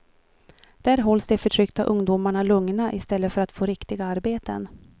Där hålls de förtryckta ungdomarna lugna i stället för att få riktiga arbeten.